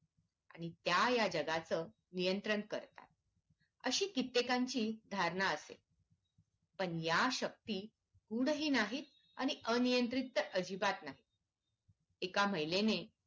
आणि त्या या जगाचं नियंत्रण करतात अशी कित्येकांची धारणा असते पण या शक्ती गूढ नाहीत आणि अनियंत्रित तर अजिबात नाहीत एका महिलेने